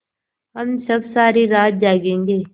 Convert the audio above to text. हम सब सारी रात जागेंगे